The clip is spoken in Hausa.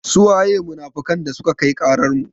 Su waye munafukan dasuka kai ƙarar mu?